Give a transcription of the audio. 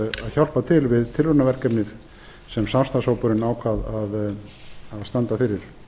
hjálpa til við tilraunaverkefnið sem samstarfshópurinn ákvað að standa fyrir